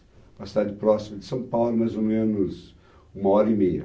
Uma cidade próxima de São Paulo, mais ou menos uma hora e meia.